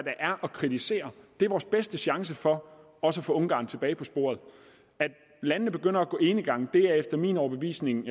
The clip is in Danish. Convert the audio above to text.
er at kritisere vores bedste chance for også at få ungarn tilbage på sporet at landene begynder at gå enegang er efter min overbevisning